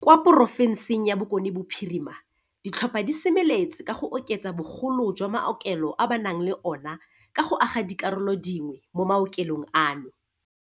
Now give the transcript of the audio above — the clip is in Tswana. Kwa porofenseng ya Bokone Bophirima, ditlhopha di semeletse ka go oketsa bogolo jwa maokelo a ba nang le ona ka go aga dikarolo dingwe mo maokelong ano.